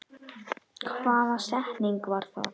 Hvaða setning var það?